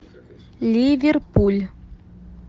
ливерпуль